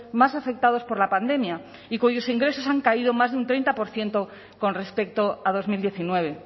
más afectados por la pandemia y cuyos ingresos han caído más de un treinta por ciento con respecto a dos mil diecinueve